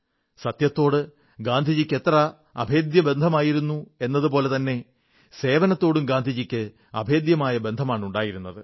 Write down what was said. സത്യത്തോട് ഗാന്ധിജിക്ക് എത്ര അഭേദ്യബന്ധമായിരുന്നു എതുപോലെതന്നെ സേവനത്തോടും ഗാന്ധിജിക്ക് അഭേദ്യമായ ബന്ധമാണ് ഉണ്ടായിരുന്നത്